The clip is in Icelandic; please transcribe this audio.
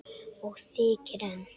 Og þykir enn.